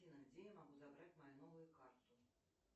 афина где я могу забрать мою новую карту